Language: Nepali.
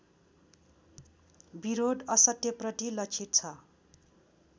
विरोध असत्यप्रति लक्षित छ